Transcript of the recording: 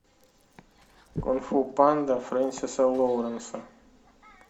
кунг фу панда френсиса лоуренса